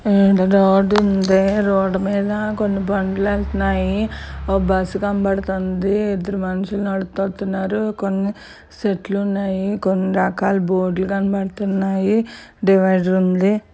ఆ ఒక రోడ్ ఉన్నది.ఆ రోడ్డు లో బండ్లు వెళుతున్నాయి . ఒక బస్సు కనబడుతుంది .ఇద్దరు మనుషులు నడుచుకుని వెళుతున్నారు. కొన్ని చెట్లు ఉన్నాయి .కొన్ని రకాల బోర్డులు కనిపిస్తున్నాయి .డివైడర్ ఉంది.